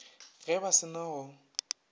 ge ba se na go